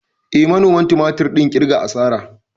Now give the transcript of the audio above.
Eh, manoman tumatir ɗin ƙirga asara.